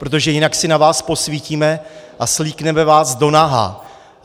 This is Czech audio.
Protože jinak si na vás posvítíme a svlíkneme vás do naha!